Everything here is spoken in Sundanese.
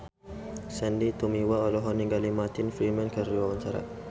Sandy Tumiwa olohok ningali Martin Freeman keur diwawancara